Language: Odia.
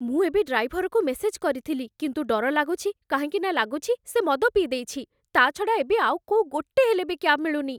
ମୁଁ ଏବେ ଡ୍ରାଇଭରକୁ ମେସେଜ କରିଥିଲି, କିନ୍ତୁ ଡର ଲାଗୁଛି କାହିଁକିନା ଲାଗୁଛି ସେ ମଦ ପିଇଦେଇଛି, ତା'ଛଡ଼ା ଏବେ ଆଉ କୋଉ ଗୋଟେ ହେଲେ ବି କ୍ୟାବ୍ ମିଳୁନି ।